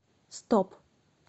стоп